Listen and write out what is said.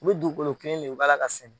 U bɛ dugukolo kelen le u b'a la ka sɛnɛn.